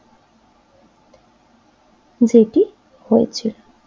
যেটি হয়েছে